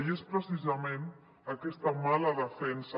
i és precisament aquesta mala defensa